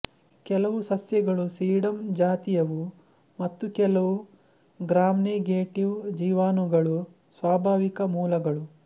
ಕೆಲವು ಸಸ್ಯಗಳು ಸೀಡಂ ಜಾತಿಯವುಮತ್ತು ಕೆಲವು ಗ್ರಾಮ್ನೆಗೆಟಿವ್ ಜೀವಾಣುಗಳು ಸ್ವಾಭಾವಿಕ ಮೂಲಗಳು